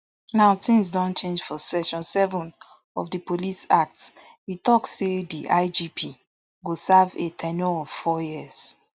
now tins don change for section seven of di police act e tok say di igp go serve a ten ure of four years